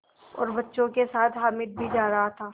और बच्चों के साथ हामिद भी जा रहा था